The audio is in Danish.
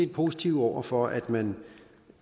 positive over for at man